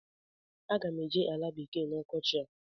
Aga m eje ala bekee na ọkọchị a.